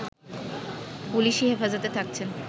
পুলিসি হেফাজতে থাকছেন